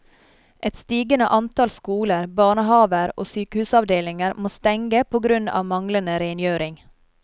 Et stigende antall skoler, barnehaver og sykehusavdelinger må stenge på grunn av manglende rengjøring.